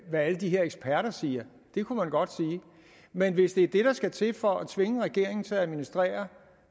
hvad alle de her eksperter siger det kunne man godt sige men hvis det der skal til for at tvinge regeringen til at administrere